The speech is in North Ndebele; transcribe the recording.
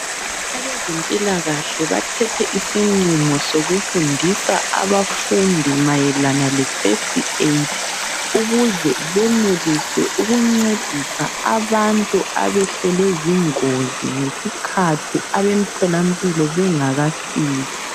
Abezempilakahle bathethe isinqumo sokufundisa abafundi mayelana kefirst aid ukuze benelise ukuncedisa abantu abehlelwe zingozi ngesikhathi abemtholampilo bengakafiki.